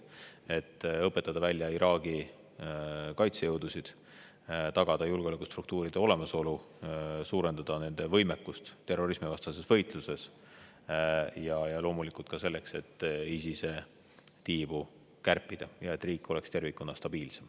on õpetada välja Iraagi kaitsejõudusid, tagada julgeolekustruktuuride olemasolu, suurendada nende võimekust terrorismivastases võitluses ja loomulikult ka see, et ISIS-e tiibu kärpida ja et riik tervikuna oleks stabiilsem.